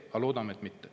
Aga loodame, et mitte.